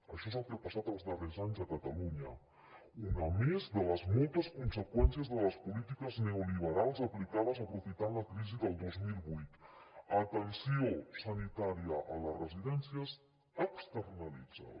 això és el que ha passat els darrers anys a catalunya una més de les moltes conseqüències de les polítiques neoliberals aplicades aprofitant la crisi del dos mil vuit atenció sanitària a les residències externalitzada